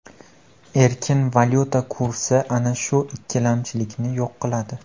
Erkin valyuta kursi ana shu ikkilamchilikni yo‘q qiladi.